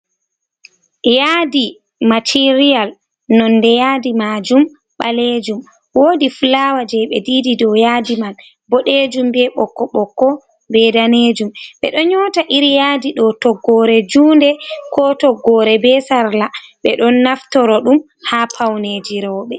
Yaadi material nonde yadi majum ɓalejum. Wodi fulawa je ɓe didi dow yadi man boɗejum be ɓokko-ɓokko be danejum ɓeɗo nyota iri yaadi do toggore junde ko toggore be sarla. Ɓeɗo naftoro ɗum ha paune ji roɓe.